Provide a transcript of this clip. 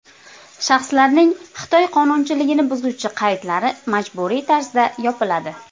Shaxslarning Xitoy qonunchiligini buzuvchi qaydlari majburiy tarzda yopiladi.